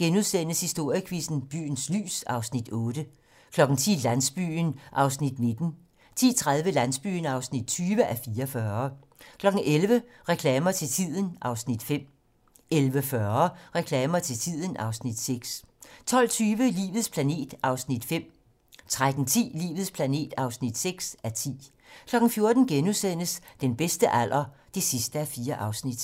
09:30: Historiequizzen: Byens lys (Afs. 8)* 10:00: Landsbyen (19:44) 10:30: Landsbyen (20:44) 11:00: Reklamer til tiden (Afs. 5) 11:40: Reklamer til tiden (Afs. 6) 12:20: Livets planet (5:10) 13:10: Livets planet (6:10) 14:00: Den bedste alder (4:4)*